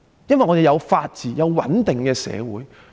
因為香港有法治及穩定的社會。